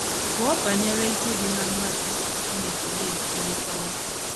Gụọ banyere ike dị ná mmadụ iso Chineke na - ekwurịta okwu.